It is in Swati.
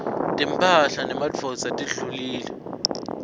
timphahla temadvodza tidulile